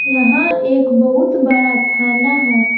यहां एक बहुत बड़ा थाना है।